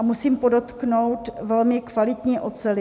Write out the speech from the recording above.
A musím podotknout, velmi kvalitní oceli.